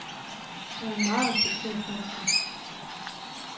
Hun er en meget respekteret kunstner.